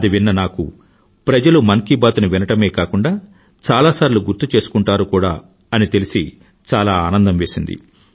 అది విన్న నాకు ప్రజలు మన్ కీ బాత్ ని వినడమే కాకుండా చాలాసార్లు గుర్తుచేసుకుంటారు కూడా అని తెలిసి చాలా ఆనందం వేసింది